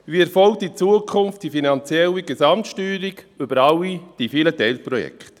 Wie erfolgt in Zukunft die finanzielle Gesamtsteuerung über all die vielen Teilprojekte?